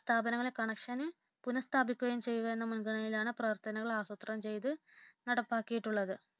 സ്ഥാപനങ്ങളിലെ കണക്ഷൻ പുനഃസ്ഥാപിക്കുകയും ചെയ്യുക എന്ന മുൻഗണനയിലാണ് പ്രവർത്തനങ്ങൾ ആസൂത്രണം ചെയ്തു നടപ്പാക്കിട്ടുള്ളത്